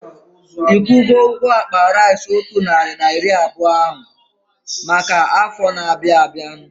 Ikwugo ụgwọ akpa rice otu narị na iri abụọ ahu maka afọ na-abianu?